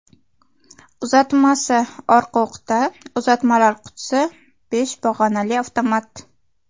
Uzatmasi orqa o‘qda, uzatmalar qutisi besh pog‘onali avtomat.